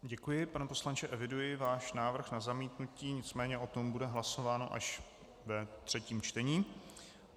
Děkuji, pane poslanče, eviduji váš návrh na zamítnutí, nicméně o tom bude hlasováno až ve třetím čtení.